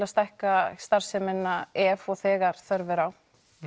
að stækka starfsemina ef og þegar þörf er á